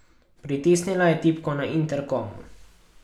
Pritisnila je tipko na interkomu.